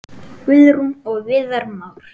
Guðrún og Viðar Már.